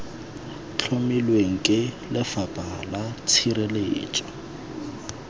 tlhomilweng ke lefapha la tshireletso